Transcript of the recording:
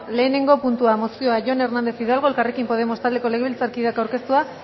lehenengo puntua mozioa jon hernández hidalgo elkarrekin podemos taldeko legebiltzarkideak aurkeztua